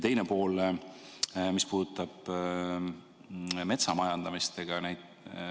Teine pool puudutab metsa majandamist.